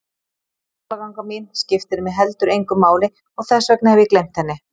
Skólaganga mín skiptir mig heldur engu máli og þess vegna hef ég gleymt henni.